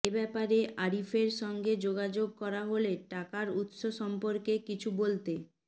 এ ব্যাপারে আরিফের সঙ্গে যোগাযোগ করা হলে টাকার উৎস সম্পর্কে কিছু বলতে